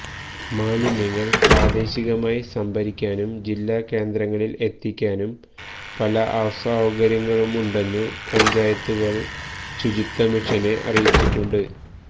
മാലിന്യങ്ങള് പ്രാദേശികമായി സംഭരിക്കാനും ജില്ലാ കേന്ദ്രങ്ങളില് എത്തിക്കാനും പല അസൌകര്യങ്ങളുമുണ്ടെന്നു പഞ്ചായത്തുകള് ശുചിത്വ മിഷനെ അറിയിച്ചിട്ടുണ്ട്